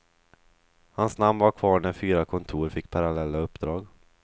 Hans namn var kvar när fyra kontor fick parallella uppdrag.